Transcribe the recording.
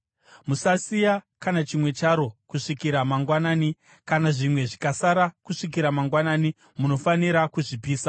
Musasiya kana chimwe charo kusvikira mangwanani; kana zvimwe zvikasara kusvikira mangwanani, munofanira kuzvipisa.